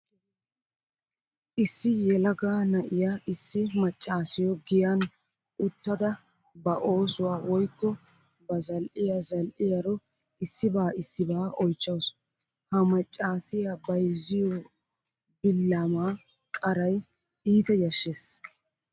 Issi yelaga na'iya issi maccaasiyo giyan uttada ba oosuwa woykko ba zal"iya zal'iyaro issiba issibaa oychchawusu. He maccaasiya bayzziyo billama qaray iita yashshees.